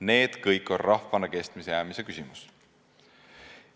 Need kõik on rahvana kestma jäämise küsimused.